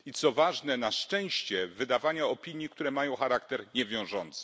I co ważne na szczęście wydawanie opinii, które mają charakter niewiążący.